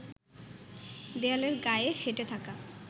দেয়ালের গায়ে সেঁটে থাকা